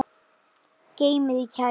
Geymið í kæli.